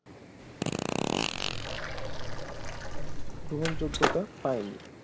গ্রহণযোগ্যতা পায়নি